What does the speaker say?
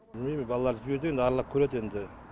білмейм балаларды жібергем аралап көреді енді